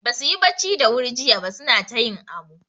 Basu yi bacci da wuri jiya ba suna ta yin amo.